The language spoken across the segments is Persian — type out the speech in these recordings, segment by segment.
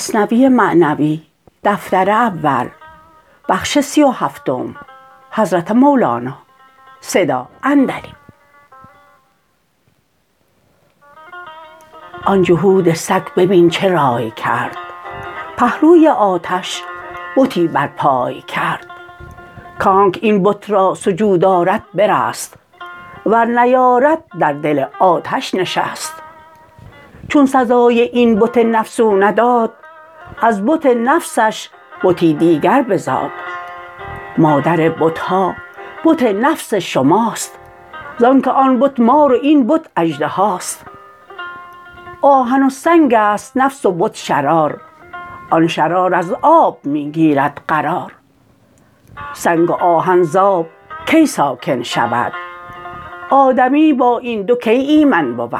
آن جهود سگ ببین چه راٰی کرد پهلوی آتش بتی بر پای کرد کانکه این بت را سجود آرد برست ور نیارد در دل آتش نشست چون سزای این بت نفس او نداد از بت نفسش بتی دیگر بزاد مادر بتها بت نفس شماست زانک آن بت مار و این بت اژدهاست آهن و سنگست نفس و بت شرار آن شرار از آب می گیرد قرار سنگ و آهن زآب کی ساکن شود آدمی با این دو کی ایمن بود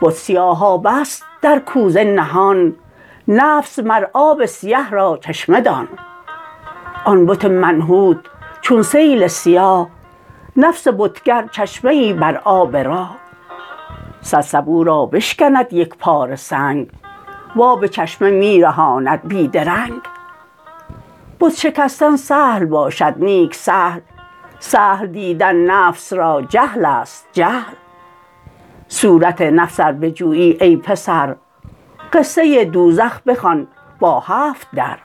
بت سیاهابه ست در کوزه نهان نفس مر آب سیه را چشمه دان آن بت منحوت چون سیل سیاه نفس بتگر چشمه ای بر آب راه صد سبو را بشکند یکپاره سنگ و آب چشمه می زهاند بی درنگ بت شکستن سهل باشد نیک سهل سهل دیدن نفس را جهلست جهل صورت نفس ار بجویی ای پسر قصه دوزخ بخوان با هفت در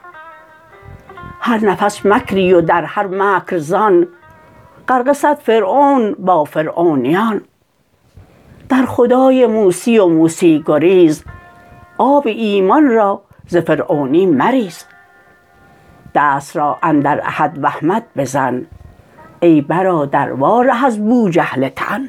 هر نفس مکری و در هر مکر زان غرقه صد فرعون با فرعونیان در خدای موسی و موسی گریز آب ایمان را ز فرعونی مریز دست را اندر احد و احمد بزن ای برادر وا ره از بوجهل تن